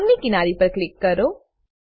bond ની કિનારી પર ક્લિક કરો